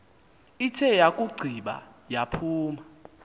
ithe yakugqiba yaphuma